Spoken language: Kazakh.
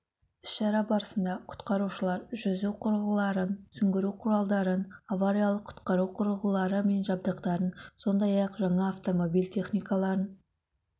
іс-шара барысында құтқарушылар жүзу құрылғыларын сүңгуір құралдарын авариялық-құтқару құрылғылары мен жабдықтарын сондай ақ жаңа автомобиль техникаларын